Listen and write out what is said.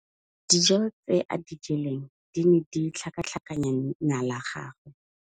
Dijô tse a di jeleng di ne di tlhakatlhakanya mala a gagwe.